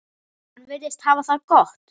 Hann virðist hafa það gott.